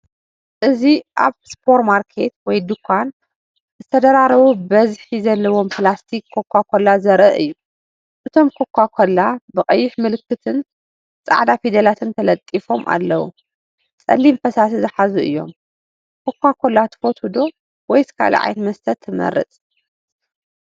እዚ ኣብ ሱፐርማርኬት ወይ ድኳን ዝተደራረቡ ብዝሒ ዘለዎም ፕላስቲክ ኮካ ኮላ ዘርኢ እዩ። እቶም ኮካ ኮላ ብቐይሕ ምልክትን ጻዕዳ ፊደላትን ተለጢፎም ኣለዉ። ጸሊም ፈሳሲ ዝሓዙ እዮም። ኮካ ኮላ ትፈትዉ ዶ? ወይስ ካልእ ዓይነት መስተ ትመርጽ?